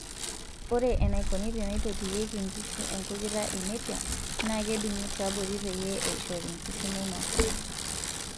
Ore enaikoni teneitotiyieki nkishu enkujita enepia naa kedungi tiabori peyie eishori nkishu meinosaa.